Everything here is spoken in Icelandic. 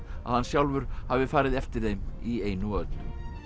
að hann sjálfur hafi farið eftir þeim í einu og öllu